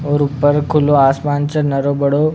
और ऊपर खुलो आसमान छे नरो बड़ो।